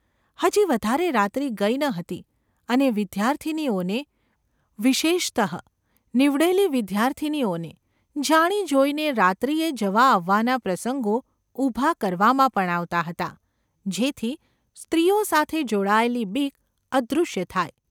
હજી વધારે રાત્રિ ગઈ ન હતી અને વિદ્યાર્થિનીઓને — વિશેષત: નીવડેલી વિદ્યાર્થિનીઓને — જાણી જોઈને રાત્રિએ જવા આવવાના પ્રસંગો ઊભા કરવામાં પણ આવતા હતા, જેથી સ્ત્રીઓ સાથે જોડાયેલી બીક અદૃશ્ય થાય !